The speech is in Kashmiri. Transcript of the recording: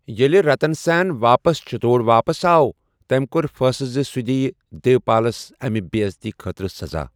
ییٚلہِ رَتن سیٚن واپس چِتوڈ واپس آو، تٔمہِ کوٚر فٲصلہٕ زِ سُہ دِیہِ دیوپالس امہِ بےٚعزتی خٲطرٕ سَزا۔